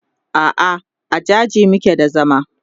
a'a a jaji muke da zama